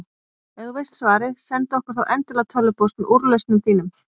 Ef þú veist svarið, sendu okkur þá endilega tölvupóst með úrlausnum þínum.